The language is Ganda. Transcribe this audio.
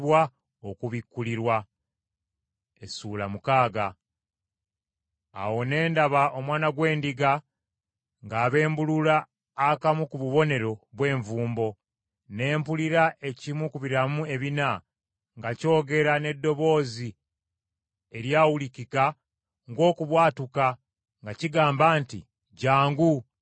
Awo ne ndaba Omwana gw’Endiga ng’abembulula akamu ku bubonero bw’envumbo; ne mpulira ekimu ku biramu ebina nga kyogera n’eddoboozi eryawulikika ng’okubwatuka nga kigamba nti, “Jjangu!”